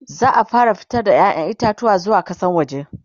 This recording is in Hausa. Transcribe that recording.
za'a fara fitar da ƴaƴan itatuwa zuwa kasan waje